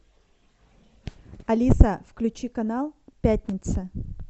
алиса включи канал пятница